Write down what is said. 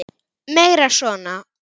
Meira svona!